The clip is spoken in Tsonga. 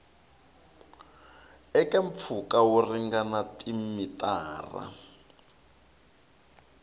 eka mpfhuka wo ringana timitara